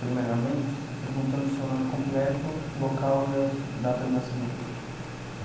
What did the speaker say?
Primeiramente, perguntando o seu nome completo, local e a data de nascimento.